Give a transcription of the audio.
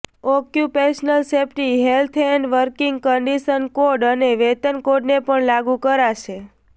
occupational safety health and working condition code અને વેતન કોડને પણ લાગુ કરાશે